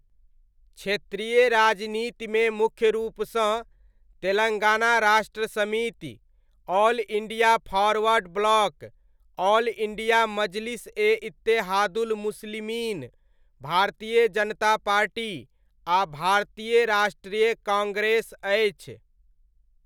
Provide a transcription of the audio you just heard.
क्षेत्रीय राजनीतिमे मुख्य रूपसँ, Telangana Rashtra Samithi, all India forward bloc, all India Majlis e Ittehadul Muslimeen, Bharatiya Janata party आ भारतीय राष्ट्रीय काँग्रेस अछि।